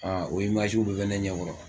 Aa o bɛɛ bɛ ne ɲɛkɔrɔ